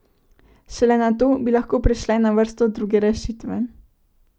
Šele nato bi lahko prišle na vrsto druge rešitve.